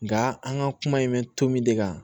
Nga an ka kuma in bɛ to min de kan